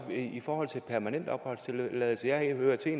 i forhold til permanent opholdstilladelse jeg hører til